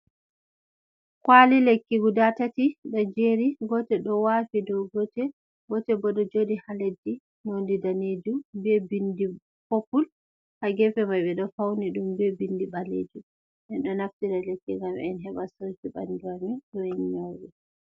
Kwali lekki guda tati do jeri gotel do wafi dow gotel, gotel bo do jodi ha leddi nonde danejum be bindi poppul ha gefe mai be do fauni dum be bindi balejum en do naftira lekki gam en heɓa saji bandu amin do ennyowe.